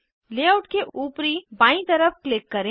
layout के ऊपरी बायीं तरफ क्लिक करें